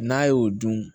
N'a ye o dun